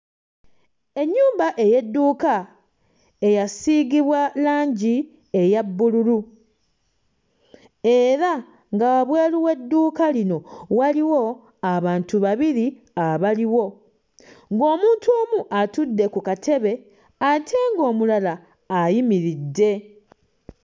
Ennyumba ey'edduuka eyasiigibwa langi eya bbululu era nga wabweru w'edduuka lino waliwo abantu babiri abaliwo ng'omuntu omu atudde ku katebe ate ng'omulala ayimiridde.